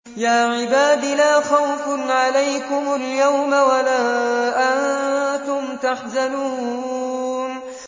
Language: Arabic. يَا عِبَادِ لَا خَوْفٌ عَلَيْكُمُ الْيَوْمَ وَلَا أَنتُمْ تَحْزَنُونَ